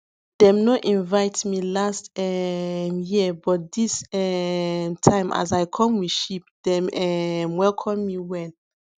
dem no invite me last um year but this um time as i come with sheep dem um welcome me well